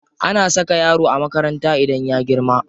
Ana saka yara a makaranta idan sun girma.